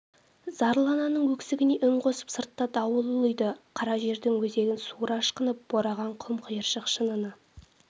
зарлы ананың өксігіне үн қосып сыртта дауыл ұлиды қара жердің өзегін суыра ышқынып бораған құм-қиыршық шыныны